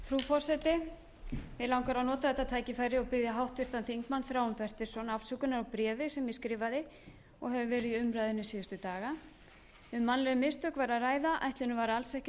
forseti mig langar að nota þetta tækifæri og biðja háttvirtan þingmann þráin bertelsson afsökunar á bréfi sem ég skrifaði og hefur verið í umræðunni síðustu daga um mannleg mistök var að ræða ætlunin var alls ekki að